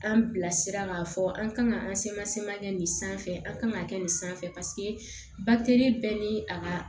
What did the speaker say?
An bilasira k'a fɔ an kan ka an kɛ nin sanfɛ an ka kan ka kɛ nin sanfɛ bɛɛ ni a ka